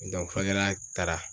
n'a taara